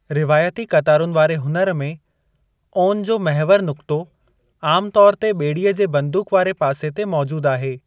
रिवायती क़तारुनि वारे हुनरु में, ओन जो महिवरु नुक़्तो आमु तौर ते ॿेड़ीअ जे बंदूक वारे पासे ते मौजूद आहे।